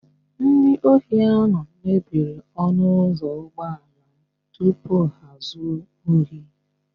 Ndị ohi ahụ mebiri ọnụ ụzọ ụgbọala m tupu ha ezuo ohi